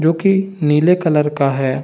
जो कि नीले कलर का है।